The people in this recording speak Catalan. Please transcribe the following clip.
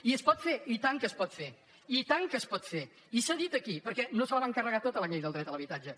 i es pot fer i tant que es pot fer i tant que es pot fer i s’ha dit aquí perquè no se la van carregar tota la llei del dret a l’habitatge